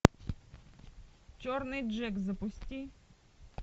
черный джек запусти